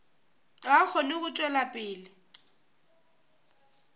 a kgone go tšwela pele